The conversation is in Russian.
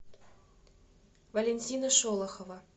валентина шолохова